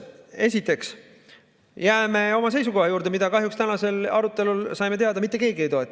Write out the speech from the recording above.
Esiteks jääme oma seisukoha juurde, mida – kahjuks tänasel arutelul saime seda teada – mitte keegi ei toeta.